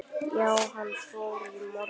Já, hann fór í morgun